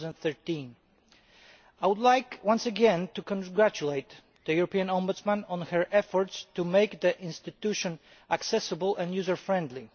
2013. I would like once again to congratulate the European Ombudsman on her efforts to make the institution accessible and user friendly.